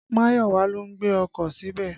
Máyọ̀wà ló gbé ọkọ̀ síbẹ̀.